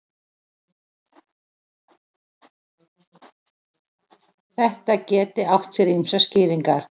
Þetta geti átt sér ýmsar skýringar